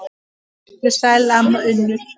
Vertu sæl, amma Unnur.